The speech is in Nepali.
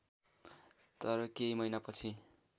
तर केही महिनापछि